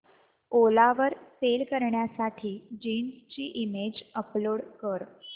ओला वर सेल करण्यासाठी जीन्स ची इमेज अपलोड कर